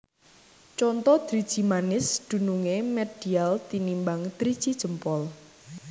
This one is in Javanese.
Conto Driji manis dunungé medial tinimbang driji jempol